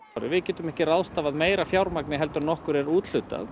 við getum ekki ráðstafað meira fjármagni heldur en okkur er úthlutað